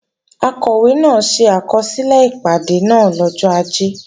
Akọ̀wé náà ṣe àkọsílẹ̀ ìpàdé náà lọ́jọ́ Ajé